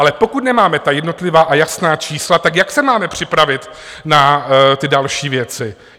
Ale pokud nemáme ta jednotlivá a jasná čísla, tak jak se máme připravit na ty další věci?